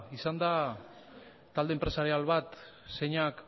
izan da talde enpresarial bat zeinak